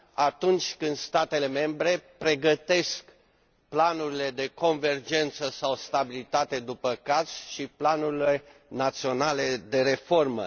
atunci când statele membre pregătesc planurile de convergență sau stabilitate, după caz, și planurile naționale de reformă.